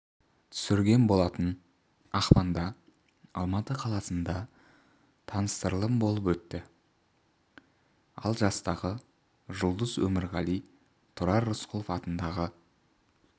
түсірген болатын ақпанда алматы қаласында таныстырылым болып өтті ал жастағы жұлдыз өмірғали тұрар рысқұлов атындағы